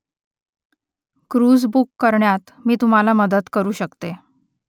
cruise book करण्यात मी तुम्हाला मदत करू शकते